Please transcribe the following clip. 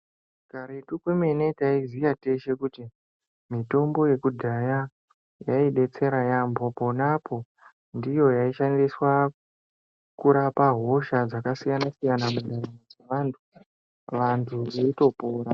Karetu kwemene taiziya teshe kuti mitombo yekudhaya yaidetsera yamho ponapo ndiyo yaishandiswa kurapa hosha dzakasiyana siyana mundaramo mweantu vantu veitopona.